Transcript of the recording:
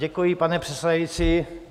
Děkuji, pane předsedající.